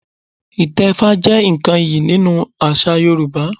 Ìtẹfá jẹ́ nǹkan iyì nínú àṣà Yorùbá